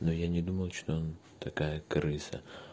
но я не думал что такая крыса